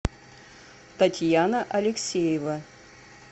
татьяна алексеева